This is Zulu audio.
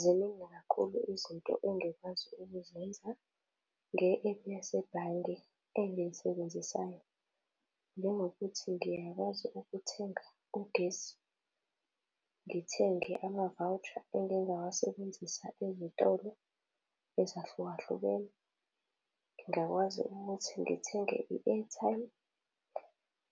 Ziningi kakhulu izinto engikwazi ukuzenza nge-app yasebhange engiyisebenzisayo njengokuthi ngiyakwazi ukuthenga ugesi, ngithenge ama-voucher engingawasebenzisa ezitolo ezahlukahlukene. Ngingakwazi ukuthi ngithenge i-airtime,